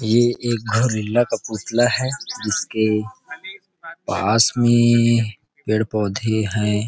ये एक गोरिला का पुतला है जिसके पास में पेड़ पोधे है।